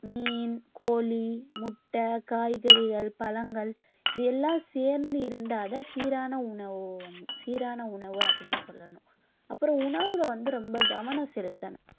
மீன், கோழி, முட்டை, காய்கறிகள், பழங்கள் இது எல்லாம் சேர்ந்து இருந்தாதான் சீரான உணவு வந்~ சீரான உணவு அப்பிடின்னு சொல்லணும் அப்புறம் உணவுல வந்து ரொம்ப கவனம் செலுத்தணும்